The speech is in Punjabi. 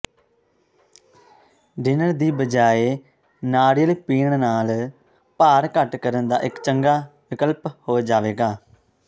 ਡਿਨਰ ਦੀ ਬਜਾਏ ਨਾਰੀਅਲ ਪੀਣ ਨਾਲ ਭਾਰ ਘੱਟ ਕਰਨ ਦਾ ਇੱਕ ਚੰਗਾ ਵਿਕਲਪ ਹੋ ਜਾਵੇਗਾ